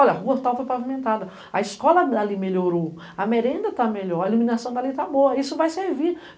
Olha, a rua tal foi pavimentada, a escola dali melhorou, a merenda tá melhor, a iluminação dali tá boa, isso vai servir.